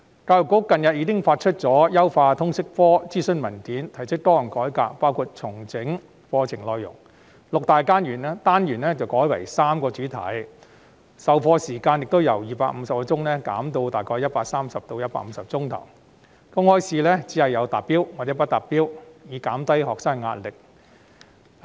教育局近日發出優化通識科的諮詢文件，並提出多項改革，包括重整課程內容，由六大單元改為3個主題，授課時間亦由250小時減至大約130小時至150小時，公開考試亦只設"達標"與"不達標"兩級，以減低學生的壓力。